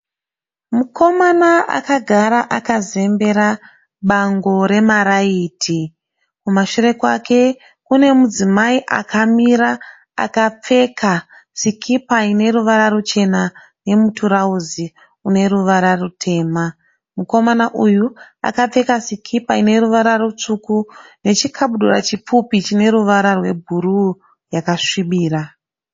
Mukomana akagara akazembera bango remaraiti. Kumashure kwake kune mudzimai akamira akapfeka sikipa ine ruvara ruchena nemutirauzi une ruvara rutema. Mukomana uyu akapfeka sikipa ine ruvara rutsvuku nechikabudura chipfupi chine ruvara rwebhuruu yakasvibira.